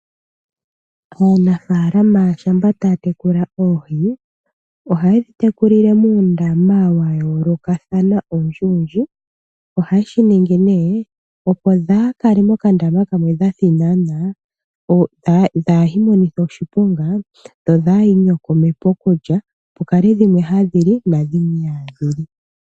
Aanafalama shampa taya tekula oohi. Oha yedhi tekulile muundama, wa yoolokathana owundji wudji. Oha yeshi ningi opo dhaa kale moka ndama kamwe dha thinanana, dhaa imonithe oshiponga, dho dha iiinyokome pokulya, ano pukale dhimwe hadhi li na dhimwe ihadhi li.